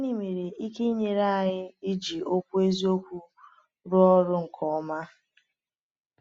Gịnị nwere ike inyere anyị iji Okwu Eziokwu rụọ ọrụ nke ọma?